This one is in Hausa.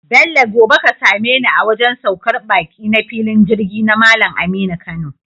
Bello gobe ka sameni a wajan saukar baki na filin Jirgi na Mallan Aminu Kano